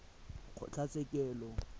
kgotlatshekelo